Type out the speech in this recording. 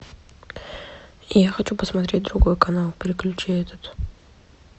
я хочу посмотреть другой канал переключи этот